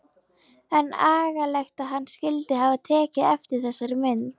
En agalegt að hann skyldi hafa tekið eftir þessari mynd.